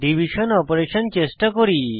division operator চেষ্টা করি